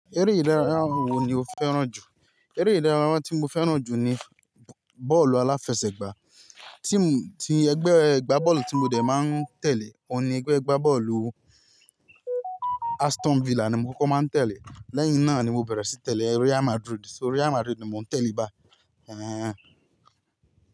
Eré ìdárayá wo ni o féràn jù? Eré ìdárayá tí mo féràn jù ni bọ́ọ̀lù aláfẹsẹ̀gbá. Team tí ẹgbẹ́ ẹgbá bọ́ọ̀lù tí mo dẹ máa ń tẹ̀lé òun ni ẹgbẹ́ ẹgbá bọ́ọ̀lù Aston Villa ni mo kókó máa ń tẹ̀lé. Lẹ́yìn náà ni mo bẹ̀rẹ̀ sí tẹ̀lé Real Madrid. So Real Madrid ni mò ń tẹ̀lé bá.